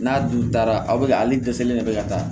N'a dun taara aw bɛ ka ale dɛsɛlen de bɛ ka taa